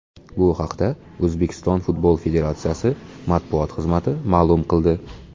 Bu haqda O‘zbekiston futbol federatsiyasi matbuot xizmati ma’lum qildi .